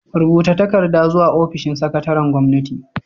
Rubuta takarda zuwa ofishin sakataren gwamnati.